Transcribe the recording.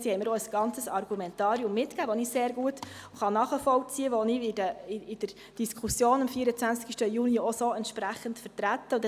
Sie haben mir auch ein ganzes Argumentarium mitgegeben, das ich sehr gut nachvollziehen kann und das ich in der Diskussion am 24. Juni auch entsprechend vertreten werde.